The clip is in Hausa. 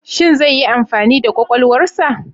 Shin zai yi amfani da kwakwalwarsa?